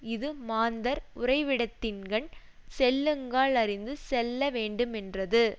இது மாந்தர் உறைவிடத்தின்கண் செல்லுங்கால் அறிந்து செல்ல வேண்டுமென்றது